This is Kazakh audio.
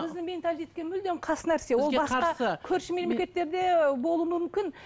біздің менталитке мүлдем қас нәрсе басқа көрші мемлекеттерде болу мүмкін